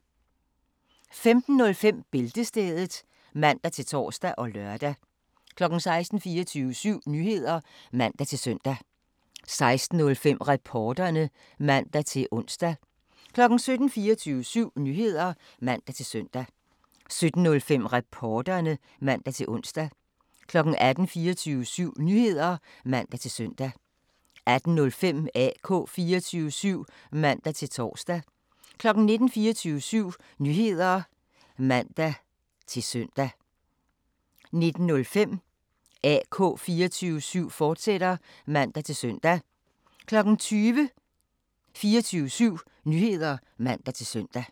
15:05: Bæltestedet (man-tor og lør) 16:00: 24syv Nyheder (man-søn) 16:05: Reporterne (man-ons) 17:00: 24syv Nyheder (man-søn) 17:05: Reporterne (man-ons) 18:00: 24syv Nyheder (man-søn) 18:05: AK 24syv (man-tor) 19:00: 24syv Nyheder (man-søn) 19:05: AK 24syv, fortsat (man-tor) 20:00: 24syv Nyheder (man-søn)